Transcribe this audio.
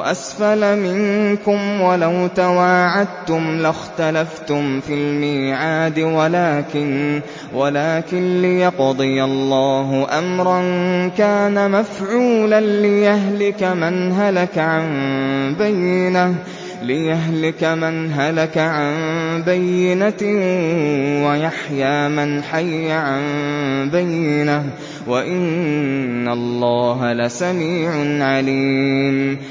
أَسْفَلَ مِنكُمْ ۚ وَلَوْ تَوَاعَدتُّمْ لَاخْتَلَفْتُمْ فِي الْمِيعَادِ ۙ وَلَٰكِن لِّيَقْضِيَ اللَّهُ أَمْرًا كَانَ مَفْعُولًا لِّيَهْلِكَ مَنْ هَلَكَ عَن بَيِّنَةٍ وَيَحْيَىٰ مَنْ حَيَّ عَن بَيِّنَةٍ ۗ وَإِنَّ اللَّهَ لَسَمِيعٌ عَلِيمٌ